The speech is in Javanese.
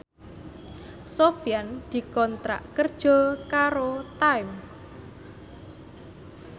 Sofyan dikontrak kerja karo Time